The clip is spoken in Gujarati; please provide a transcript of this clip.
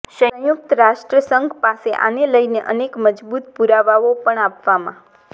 સંયુક્ત રાષ્ટ્ર સંઘ પાસે આને લઈને અનેક મજબુત પુરાવાઓ પણ આપવામાં